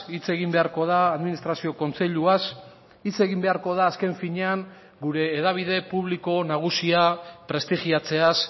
hitz egin beharko da administrazio kontseiluaz hitz egin beharko da azken finean gure hedabide publiko nagusia prestigiatzeaz